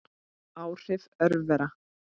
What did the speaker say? Áhrif örvera